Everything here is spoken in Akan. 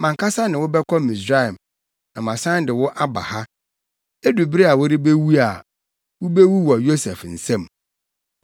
Mʼankasa ne wo bɛkɔ Misraim, na masan de wo aba ha. Edu bere a worebewu a, wubewu wɔ Yosef nsam.”